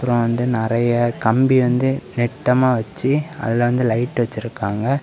ம் வந்து நெறைய கம்பி வந்து நெட்டமா வச்சு அதுல வந்து லைட் வச்சிருக்காங்க.